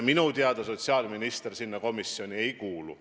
Minu teada sotsiaalminister sellesse komisjoni ei kuulu.